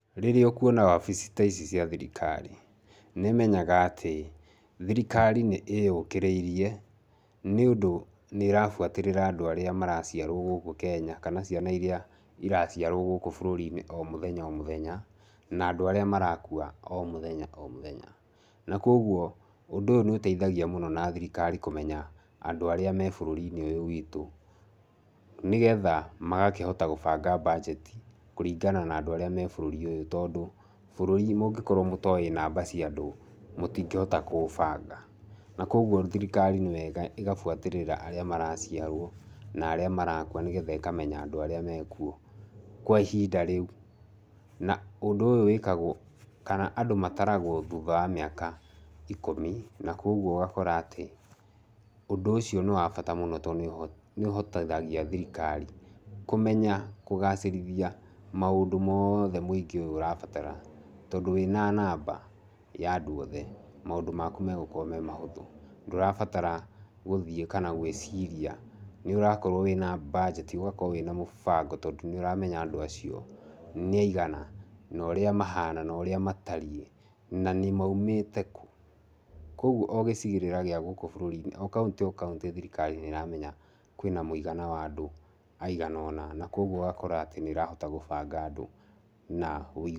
Rĩrĩa ũkuona wabici ta ici cia thirikari, nĩ menyaga atĩ thirikari nĩ ĩyũkĩrĩirie nĩ ũndũ nĩ ĩrabuatĩrĩra andũ irĩa maraciarwo gũkũ Kenya kana ciana irĩa iraciarwo gũkũ bũrũri-inĩ o mũthenya o mũthenya, na andũ arĩa marakua o mũthenya o müthenya. Na kwoguo ũndũ ũyũ nĩ ũteithagia mũno na thirikari kũmenya andũ arĩa me bũrũri ũyũ witũ nĩgetha magakĩhota gũbanga budget kũringana na andũ arĩa me bũrũri ũyũ. Tondũ bũrũri mũngĩkorwo mũtoĩ namba cia andũ mũtingĩhota kũũbanga. Na koguo thirikari nĩ wega ĩgabuatĩrĩra arĩa maraciarwo na arĩa marakua nĩgetha ĩkamenya andũ arĩa mekuo kwa ihinda rĩu. Na ũndũ ũyũ wĩkagwo kana andũ mataragwo thutha wa mĩaka ikũmi na kwoguo ũgakora atĩ ũndũ ũcio nĩ wa bata mũno tondũ nĩ ũhotithagia thirikari kũmenya kũgacĩrithia maũndũ mothe mũingĩ ũyũ ũrabatara. Tondũ wĩna namba ya andũ othe maũndũ maku megũkorwo me mahũthũ. Ndũrabatara gũthiĩ kana gwĩciria nĩ ũrakorwo wĩna budget ũgakorwo wĩna mũbango tondũ nĩ ũramenya andũ acio nĩ aigana, na ũrĩa mahana na ũrĩa matariĩ na nĩ moimĩte kũ. Koguo o gĩcigĩrĩra gĩa gũkũ bũrũri-inĩ, o kaũntĩ o kaũntĩ thirikari nĩ ĩramenya kwĩna mũigana wa andũ aigana ũna. Na kwoguo ũgakora atĩ nĩ ũrahota gũbanga andũ na...